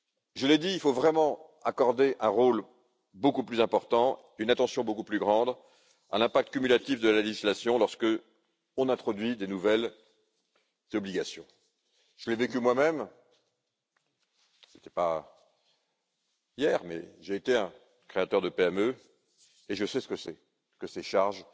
Je l'ai dit, il faut vraiment accorder un rôle beaucoup plus important, une attention beaucoup plus grande à l'impact cumulatif de la législation lorsqu'on introduit de nouvelles obligations. Je l'ai vécu moi même ce n'était pas hier, mais j'ai été un créateur de PME et je sais ce que c'est que ces charges